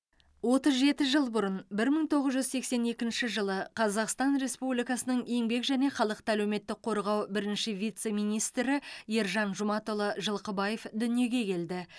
отыз жеті жыл бұрын бір мың тоғыз жүз сексен екінші жылы қазақстан республикасының еңбек және халықты әлеуметтік қорғау бірінші вице министрі ержан жұматұлы жылқыбаев дүниеге келді